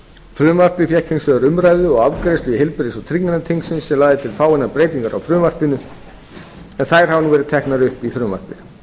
frumvarpið fékk hins vegar umræðu og afgreiðslu í heilbrigðis og trygginganefnd þingsins sem lagði til fáeinar breytingar á frumvarpinu en þær hafa nú verið teknar upp í frumvarpið